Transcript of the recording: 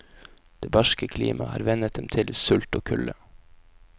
Det barske klimaet har vennet dem til sult og kulde.